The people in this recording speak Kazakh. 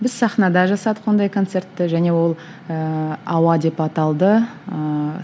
біз сахнада жасадық ондай концертті және ол ііі ауа деп аталды ыыы